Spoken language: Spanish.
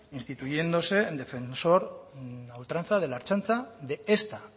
instituyéndose en defensor a ultranza de la ertzaintza de esta